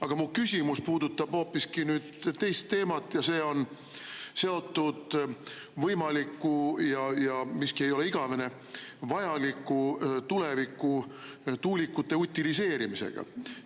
Aga mu küsimus puudutab hoopis teist teemat ja see on seotud võimaliku – miski ei ole igavene – ja vajaliku tuleviku tuulikute utiliseerimisega.